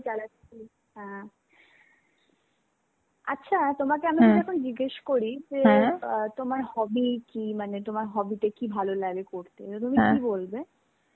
চালাচ্ছি হ্যাঁ. আচ্ছা, তোমাকে আমি যদি আমি জিজ্ঞেস করি যে, বা তোমার hobby কি মানে তোমার hobby টা কি তোমার ভালো লাগে করতে তো তুমি কি বলবে?